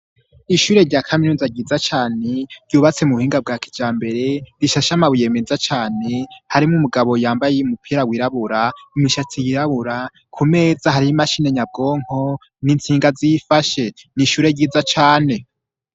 Ishure rya kaminuza ryiza cane ryubatse mu buhinga bwa kijambere rishashe amabuye meza cane harimo umugabo yambaye umupira wirabura imishatsi yirabura ku meza hari imashini nyabwonko n'insinga ziyifashe n'ishure ryiza cane.